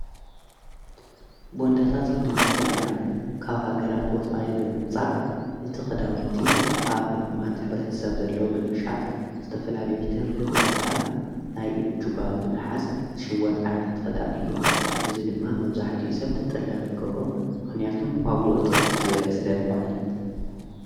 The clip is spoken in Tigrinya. በንዳታት ክነበልከለና ካብ ሃገራት ወፃዊ ብምምጻእ ንቲ ኽዳውንቲ ኣብ ድኹማት ኅብረት ሰብ ዘለዎ ብምሻጥ ዝተፈላል ትርፊ ብምርካብ ናይ ኢድጁባ ብመሓዝ ሽይወት ኣይነት ኽዳን እዩ እዝይ ድማ መውዙሕቱይ ሰብቲ ጠላዊ ይገብሮ ምኽንያቱም ዋጕዑ ትሕቲ ዘለ ስለ ልኾነ።